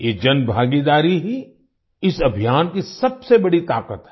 ये जनभागीदारी ही इस अभियान की सबसे बड़ी ताकत है